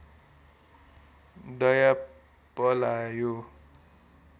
दया पलायो